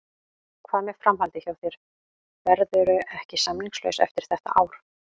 Hvað með framhaldið hjá þér, verðurðu ekki samningslaus eftir þetta ár?